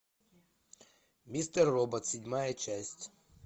мистер робот седьмая часть